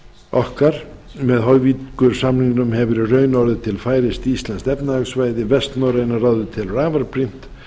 okkar með hoyvíkursamningnum hefur í raun orðið til færeyskt íslenskt efnahagssvæði vestnorræna ráðið telur afar brýnt